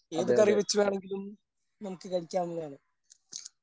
ഏതു കറി വെച്ച് വേണങ്കിലും നമുക്ക് കഴിക്കാവുന്നതാണ്.